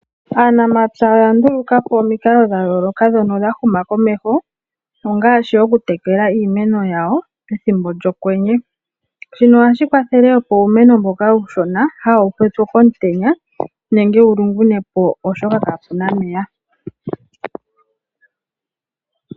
Aanamapya oya ndulukapo omikalo dhayooloka ndhono dha huma komeho, ongaashi okutekela iimeno yawo pethimbo lyokwenye. Shino ohashi kwathele opo uumeno mboka uushona kawu pye po komutenya nenge wulungune po oshoka kaapuna omeya.